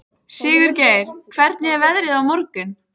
Sigurgeir, hvernig er veðrið á morgun?